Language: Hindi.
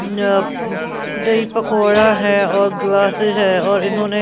अ दही पकौड़ा है और ग्लासेस है और इन्होंने--